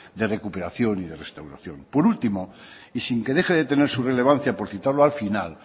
de recuperación y de restauración por último y sin que deje de tener su relevancia por citarlo al final